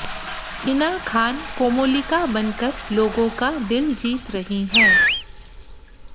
हिना खान कोमोलिका बनकर लोगों का दिल जीत रही हैं